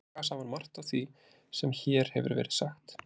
Þau draga saman margt af því sem hér hefur verið sagt.